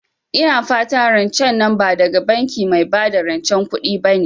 Ina fatan rancen nan ba daga banki mai bada rancen kuɗi bane?